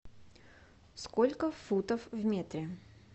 сколько футов в метре